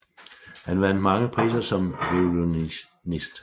Han vandt mange priser som violinist